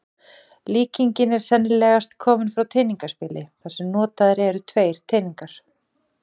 Líkingin er sennilegast komin frá teningaspili þar sem notaðir eru tveir teningar.